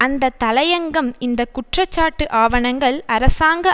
அந்த தலையங்கம் இந்த குற்றச்சாட்டு ஆவணங்கள் அரசாங்க